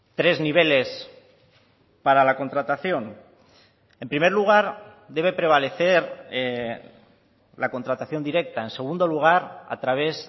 tres niveles para la contratación en primer lugar debe prevalecer la contratación directa en segundo lugar a través